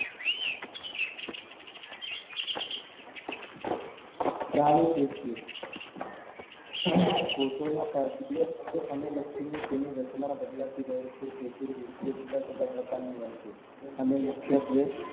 પ્રાણીપેશીઓ કોષોના કારણે અને તેની રચનાઓ બદલાતી રહે છે તેથી પેશીઓ જુદા જુદા પ્રકારની હોય છે અને મુખ્યત્વે